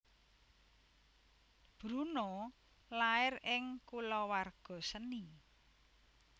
Bruno lair ing kulawarga seni